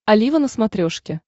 олива на смотрешке